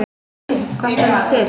Hvað stendur til?